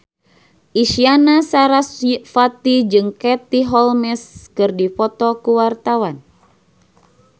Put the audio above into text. Isyana Sarasvati jeung Katie Holmes keur dipoto ku wartawan